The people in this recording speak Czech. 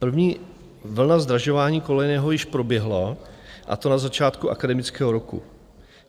První vlna zdražování kolejného již proběhla, a to na začátku akademického roku.